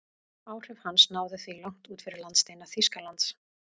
Áhrif hans náðu því langt út fyrir landsteina Þýskalands.